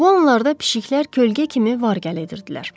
Bu onlarda pişiklər kölgə kimi var-gəl edirdilər.